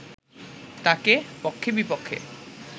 তাকে পক্ষে-বিপক্ষে